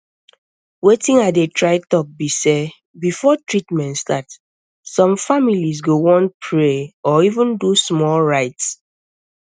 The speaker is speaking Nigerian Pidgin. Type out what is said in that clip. wetin i dey try talk be sey before treatment start some families go want pray or even do small rite